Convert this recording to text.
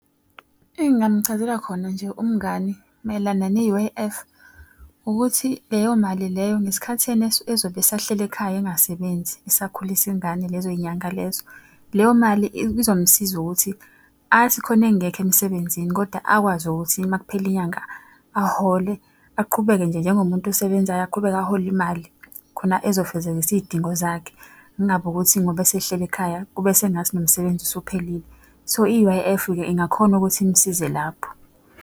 Engingamuchazela khona nje umngani mayelana ne-U_I_F ukuthi leyo mali leyo ngesikhathi yena ezobe esahleli ekhaya engasebenzi esakhulisa ingane lezo y'nyanga lezo. Leyo mali izomsiza ukuthi athi khona engekho emsebenzini kodwa akwazi ukuthi uma kuphela inyanga ahole aqhubeke nje njengomuntu osebenzayo aqhubeke ahole imali. Khona ezofezekisa iy'dingo zakhe, kungabi ukuthi ngoba esehleli ekhaya, kube sengathi nomsebenzi usuphelile. So i-U_I_F-ke ingakhona ukuthi imsize lapho.